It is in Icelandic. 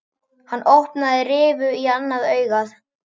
Hann opnaði rifu á annað augað.